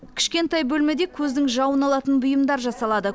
кішкентай бөлмеде көздің жауын алатын бұйымдар жасалады